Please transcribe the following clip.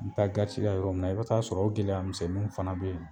N bi taa garisi la yɔrɔ min na, i bi taa sɔrɔ o gɛlɛya misɛnninw fana be yen.